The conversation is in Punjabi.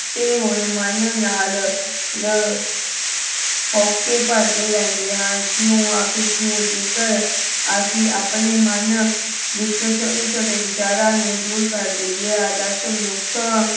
ਟੁੱਟੇ ਹੋਏ ਮਨ ਨਾਲ ਲ ਹੋਂਕੇ ਭਰਦੇ ਰਹਿੰਦੇ ਹਾਂ ਕਿਉਂ ਆਖਿਰ ਕਿਉਂ? ਜੇਕਰ ਅਸੀਂ ਆਪਣੇ ਮਨ ਵਿੱਚੋਂ ਛੋਟੇ ਛੋਟੇ ਵਿਚਾਰਾਂ ਨੂੰ ਦੂਰ ਕਰ ਦੇਈਏ ਆਦਰਸ਼ ਮਨੁਖ